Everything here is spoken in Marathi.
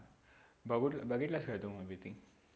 बघून, बघितलास का तो movie ती